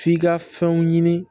F'i ka fɛnw ɲini